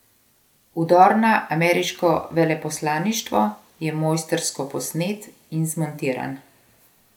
Vdor na ameriško veleposlaništvo je mojstrsko posnet in zmontiran.